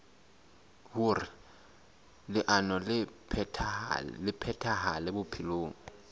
hoer leano le phethahale bophelong